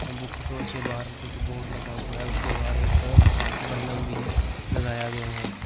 मुख रोल के बाहर कुछ बोर्ड लगा हुआ है उसके बाद एक बल्लम भी लगाया गया है।